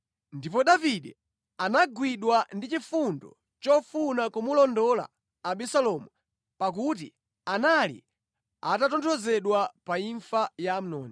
Ndipo Davide anagwidwa ndi chifundo chofuna kumulondola Abisalomu pakuti anali atatonthozedwa pa imfa ya Amnoni.